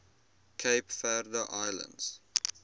cape verde islands